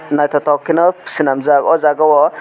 nythotok ke no swnamjak aw jaaga o.